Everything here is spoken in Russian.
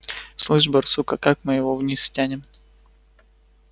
слышишь барсук а как мы его вниз стянем